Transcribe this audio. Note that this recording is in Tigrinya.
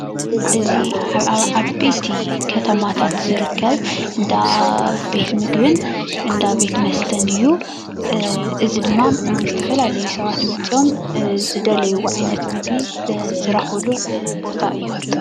እዚ ኣብ ዓበይቲ ከተማታት ዝርከብ እንዳ ቤት ምግብን እንዳ ቤት መስተን እዩ። እዙይ ድማ ዝተፈላለዩ ሰባት መፅእዮም ዝደለይዎ ዓይነት ምግቢ ዝረክቡሉ ቦታ እዩ።